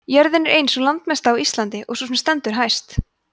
jörðin er ein sú landmesta á íslandi og sú sem stendur hæst